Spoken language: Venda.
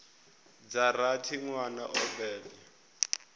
dza rathi nwana o bebwa